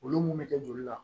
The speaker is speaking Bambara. Olu mun be kɛ joli la